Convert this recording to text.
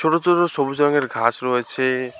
ছোট ছোট সবুজ রঙের ঘাস রয়েছে।